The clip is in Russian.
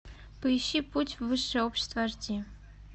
поищи путь в высшее общество аш ди